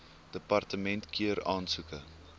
departement keur aansoeke